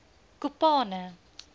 kopane